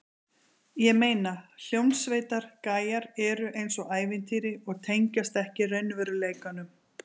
Ég meina, hljómsveitar- gæjar eru eins og ævintýri og tengjast ekki raunveruleikanum.